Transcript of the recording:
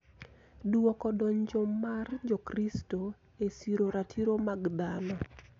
Dwoko donjo mar Jokristo e siro ratiro mag dhano.